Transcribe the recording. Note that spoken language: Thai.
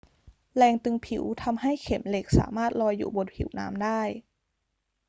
แรงตึงผิวทำให้เข็มเหล็กสามารถลอยอยู่บนผิวน้ำได้